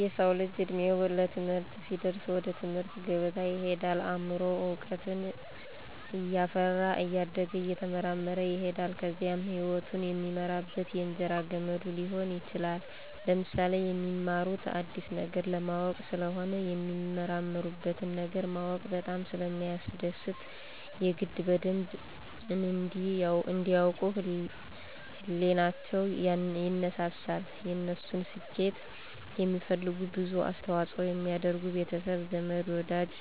የሰዉ ልጅ እድሜዉ ለትምህርት ሲደርስ ወደ ትምህርት ገበታ ይሄዳል አምሮዉም እዉቀትን እያፈራ እያደገ እየተመራመረ ይሄዳል ከዚያም ህይወቱን የሚመራበት የእንጀራ ገመዱ ሊሆን ይችላል። ለምሳሌ፦ የሚማሩት አዲስ ነገር ለማወቅ ስለሆነ የሚመራመሩበትን ነገር ማወቅ በጣም ስለሚያስደስት የግድ በደንብ እንዲ ያዉቁ ህሊቸዉ ይነሳሳል፣ የነሱን ስኬት የሚፈልጉ ብዙ አስተዋፅኦ የሚያደርጉ ቤተሰብ፣ ዘመድ፣ ወዳጅ